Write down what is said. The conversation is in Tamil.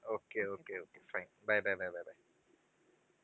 okay okay okay fine bye bye bye bye bye